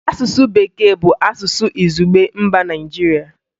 Asụsụ Bekee bụ asụsụ izugbe mba Nigeria